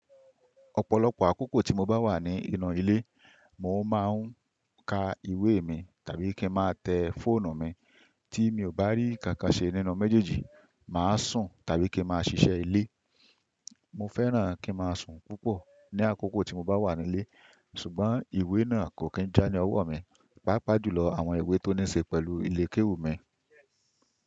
Ọ̀pọ̀lọpọ̀ àkókò tí mo bá wà ní inú ilé, mò ń máa ń ka ìwé mi tàbí kí ń máa tẹ fónù mi, tí mi ò bá rí kankan ṣe nínú méjèèjì, màá sùn tàbí kí máa ṣiṣẹ́ ilé. Mo fẹ́ràn kí máa sùn púpọ̀ ní àkókò tí mo bá wà nílé, ṣùgbọ́n ìwé náà kò kí ń já ní ọwọ́ mi, pàápàá jù lọ àwọn ìwé tó ní ṣe pẹ̀lú ilé kéwú mi.